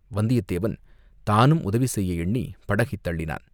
வந்தியத்தேவன் தானும் உதவி செய்ய எண்ணிப் படகைத் தள்ளினான்.